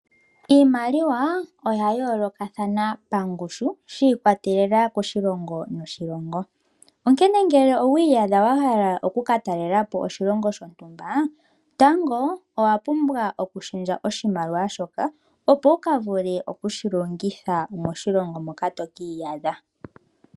Iimaliwa oya yoolokathana pangushu, shi ikwatelela koshilongo noshilongo. Onkene ngele owiiyadha wa hala oku ka talela po oshilongo shontumba, tango owa pumbwa okushendja oshimaliwa shoka, opo wu ka vule oku shi longitha moshilongo moka tokiiyadha.